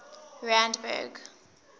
randburg